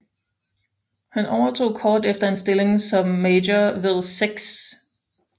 Han overtog kort efter en stilling som major ved 6